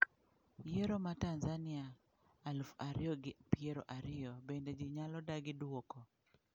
Yiero ma tanzania aluf ariyo gi piero ariyo: bende ji nyalo dagi duoko?